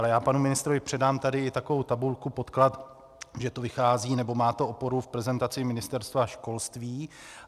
Ale já panu ministrovi předám tady takovou tabulku, podklad, že to vychází nebo má to oporu v prezentaci Ministerstva školství.